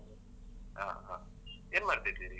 ಹ ಹಾ. ಏನ್ ಮಾಡ್ತಿದಿರಿ ಈಗ?